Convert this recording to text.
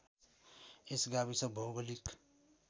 यस गाविस भौगोलिक